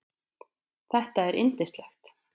Þetta er yndislegt